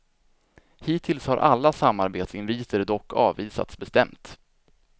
Hittills har alla samarbetsinviter dock avvisats bestämt.